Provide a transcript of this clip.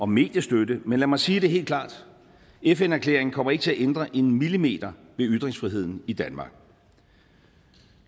mediestøtte men lad mig sige det helt klart fn erklæringen kommer ikke til at ændre en millimeter ved ytringsfriheden i danmark